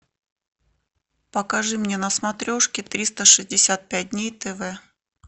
покажи мне на смотрешке триста шестьдесят пять дней тв